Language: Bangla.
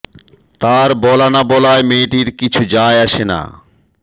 তার বলা না বলায় মেয়েটির কিছু আসে যায় না